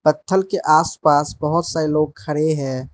पथल के आसपास बहोत सारे लोग खड़े हैं।